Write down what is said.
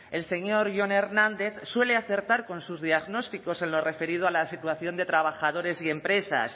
el señor jon hernández suele acertar con sus diagnósticos en lo referido a la situación de trabajadores y empresas